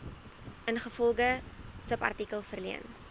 ingevolge subartikel verleen